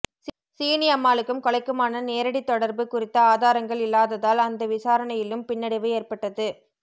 சீனியம்மாளுக்கும் கொலைக்குமான நேரடித் தொடர்பு குறித்த ஆதாரங்கள் இல்லாததால் அந்த விசாரணையிலும் பின்னடைவு ஏற்பட்டது